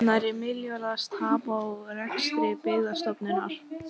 Tekjutenging ellilífeyris er því hluti af lífeyriskerfi Tryggingarstofnunar.